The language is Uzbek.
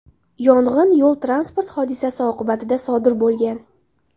Yong‘in yo‘l-transport hodisasi oqibatida sodir bo‘lgan.